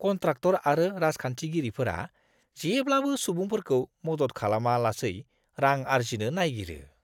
Contractor आरो राजखान्थिगिरिफोरा जेब्लाबो सुबुंफोरखौ मदद खालामालासै रां आर्जिनो नायगिरो।